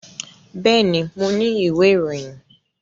Bẹ́ẹ̀ni, mo ni ìwé ìròyìn